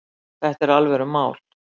Þetta er alvörumál